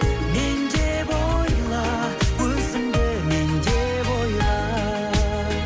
мен деп ойла өзіңді мен деп ойла